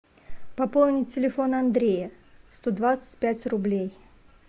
пополнить телефон андрея сто двадцать пять рублей